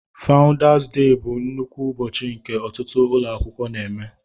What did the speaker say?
fáudás déh bụ nnukwu ụbọchị nke ọtụtụ ụlọ akwụkwọ na-eme